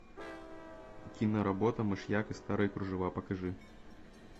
киноработа мышьяк и старые кружева покажи